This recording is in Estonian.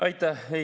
Aitäh!